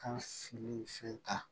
Ka fini fɛn ta